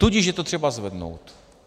Tudíž je třeba to zvednout.